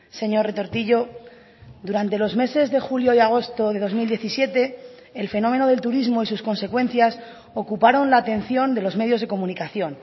señor retortillo durante los meses de julio y agosto de dos mil diecisiete el fenómeno del turismo y sus consecuencias ocuparon la atención de los medios de comunicación